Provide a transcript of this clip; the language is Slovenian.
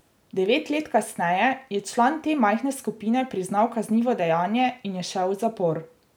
Devet let kasneje je član te majhne skupine priznal kaznivo dejanje in je šel v zapor.